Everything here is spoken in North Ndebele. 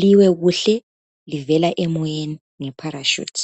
liwe kuhle livela emoyeni ngeparashoot.